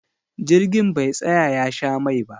Jirgin be tsaya ya sha mai ba